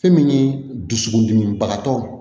Fɛn min ye dusukun dimi bagatɔ